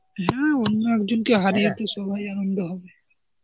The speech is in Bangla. হ্যাঁ, অন্য একজনকে হারিয়ে তো সবাই আনন্দ হবে.